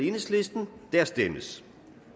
der stemmes